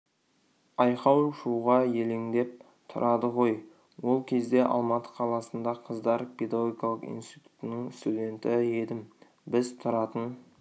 айқау-шуға елеңдеп тұрады ғой ол кезде алматы қаласында қыздар педагогикалық институтының студенті едім біз тұратын